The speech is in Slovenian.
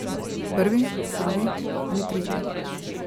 Prvi, drugi ali tretji?